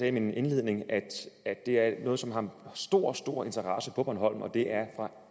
i min indledning at det er noget som har stor stor interesse på bornholm og det er fra